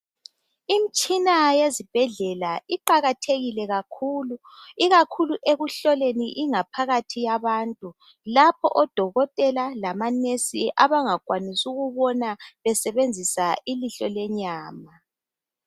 Imtshina yezibhedlela iqakathekile kakhulu, ikakhulu ekuhlohleni ingaphakathi yabantu, lapho odokotela lamanesi abangakwanisi ukubona besebenzisa ilihlo lenyama.